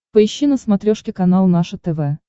поищи на смотрешке канал наше тв